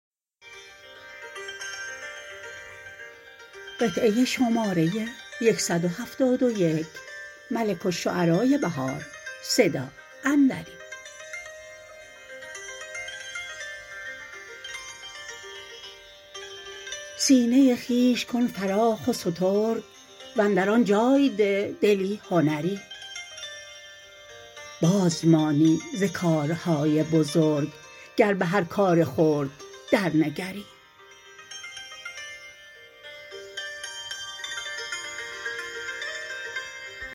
سینه خویش کن فراخ و سترگ وندر آن جای ده دلی هنری باز مانی ز کارهای بزرگ گر به هر کار خرد درنگری